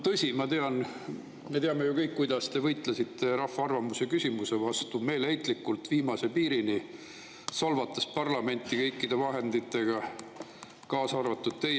Tõsi, ma tean ja me teame ju kõik, kuidas teie võitles rahva arvamuse küsimise vastu, meeleheitlikult, viimase piirini, solvates parlamenti kõikide vahenditega, teie.